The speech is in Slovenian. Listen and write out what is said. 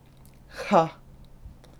Hah!